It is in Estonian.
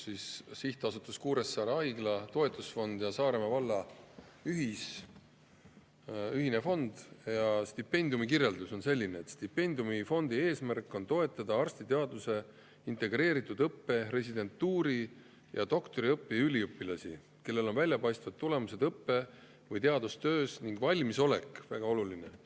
Sihtasutuse Kuressaare Haigla Toetusfond ja Saaremaa valla ühise stipendiumifondi eesmärk on toetada arstiteaduse integreeritud õppe, residentuuri ja doktoriõppe üliõpilasi, kellel on väljapaistvad tulemused õppe‑ või teadustöös ning valmisolek – väga oluline!